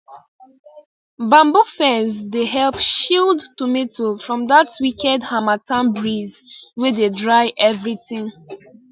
bamboo fence dey help shield tomato from that wicked harmattan breeze wey dey dry everything